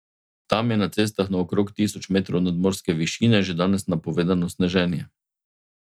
Tam je na cestah na okrog tisoč metrov nadmorske višine že danes napovedano sneženje.